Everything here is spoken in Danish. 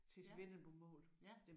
Ja ja